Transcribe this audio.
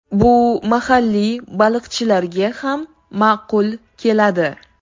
Bu mahalliy baliqchilarga ham ma’qul keladi.